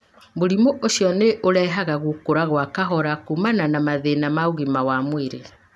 Mũrimũ ũcio nĩ ũrehaga gũkũra gwa kahora kumana na mathĩna ma ũgima wa mwĩrĩ.